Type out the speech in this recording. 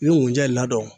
N ye mun ja i la dɔn